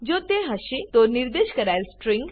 જો તે હશે તો નિર્દેશ કરાયેલ સ્ટ્રીંગ